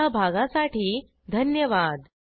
सहभागासाठी धन्यवाद